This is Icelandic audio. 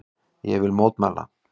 Ég vil mótmæla.